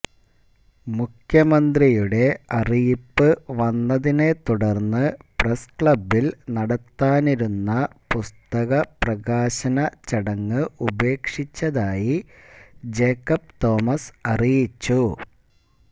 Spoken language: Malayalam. മുഖ്യമന്ത്രിയുടെ അറിയിപ്പ് വന്നതിനെ തുടര്ന്ന് പ്രസ്ക്ലബില് നടത്താനിരുന്ന പുസ്തപ്രകാശന ചടങ്ങ് ഉപേക്ഷിച്ചതായി ജേക്കബ് തോമസ് അറിയിച്ചു